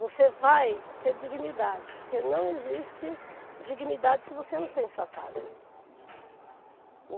Você vai ter dignidade, porque não existe dignidade se você não tem a sua casa.